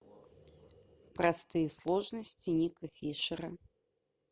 простые сложности ника фишера